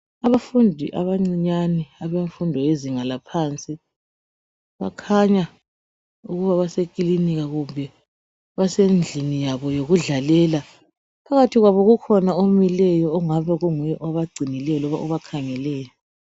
Abafundi abancinyane abemfundo yezinga laphansi bakhanya ukuba basekilinika kumbe basendlini yabo yokudlalela. Phakathi kwabo kukhona omileyo ongabe kunguye obagcinileyo loba obakhangeleyo.